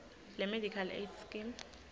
lemedical aid scheme